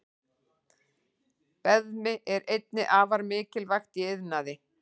Beðmi er einnig afar mikilvægt í iðnaði.